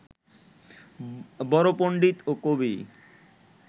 বড় পণ্ডিত ও কবি